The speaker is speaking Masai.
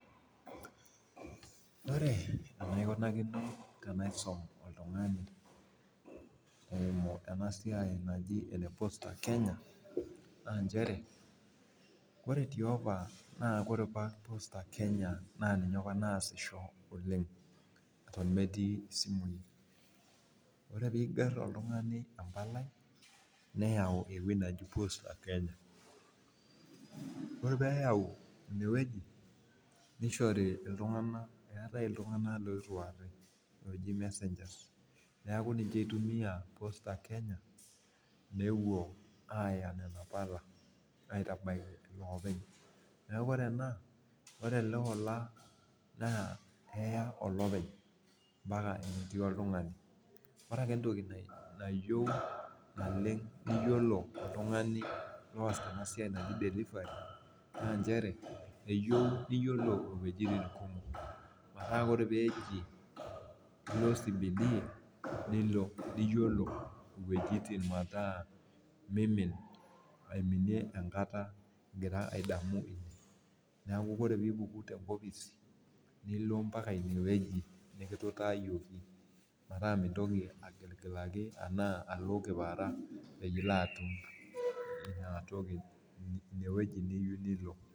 Ore enaikunakini tanaisum oltungani eimu enasiai najiene posta kenya na nchere ore tiopa ore apa posta kenya na ninye apa naasisho oleng metii simui ore piger oltungani embalai neyau ewueji naji posta kenya ore pishoyo eetai ltunganak oji messagers neaku ninche itumia posta kenya aya nona pala aitabaki olopeny neaku keya olola aitabaki enetii oltungani ore ake entoki nayieu neyiolou oltungani oas enatoki naji delivery na mchere eyieu niyiolo uwueji kumok ore ake peji ilo cbd niyiolo weujitin kumok nilo mimin ingira adamu neaku ore pipuku tenkopis nilo mbaka inewueji nikituutaaki pilo atum inatoki inewueji niyieu nilo.